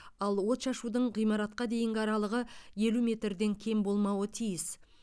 ал отшашудың ғимаратқа дейінгі аралығы елу метрден кем болмауы тиіс